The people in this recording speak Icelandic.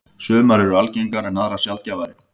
Sumar eru algengar en aðrar sjaldgæfari.